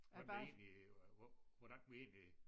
Hvordan det egentlig hvor hvordan vi egentlig